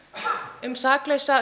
um saklausa